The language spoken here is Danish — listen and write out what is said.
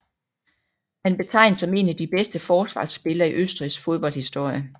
Han betegens som en af de bedste forsvarsspillere i Østrigs fodboldhistorie